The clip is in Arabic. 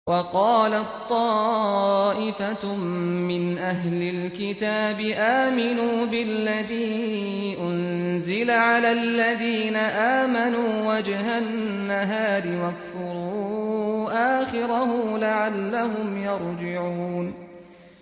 وَقَالَت طَّائِفَةٌ مِّنْ أَهْلِ الْكِتَابِ آمِنُوا بِالَّذِي أُنزِلَ عَلَى الَّذِينَ آمَنُوا وَجْهَ النَّهَارِ وَاكْفُرُوا آخِرَهُ لَعَلَّهُمْ يَرْجِعُونَ